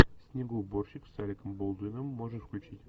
снегоуборщик с алеком болдуином можешь включить